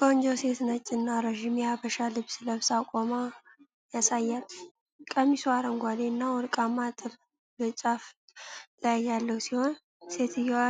ቆንጆ ሴት ነጭ እና ረጅም የሐበሻ ልብስ ለብሳ ቆማ ያሳያል። ቀሚሱ አረንጓዴ እና ወርቃማ ጥልፍ በጫፉ ላይ ያለው ሲሆን፤ ሴትዮዋ